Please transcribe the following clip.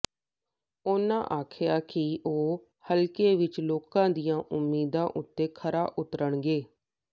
ਉਨ੍ਹਾਂ ਆਖਿਆ ਕਿ ਉਹ ਹਲਕੇ ਵਿਚ ਲੋਕਾਂ ਦੀਆਂ ਉਮੀਦਾਂ ਉਤੇ ਖਰਾ ਉਤਰਣਗੇ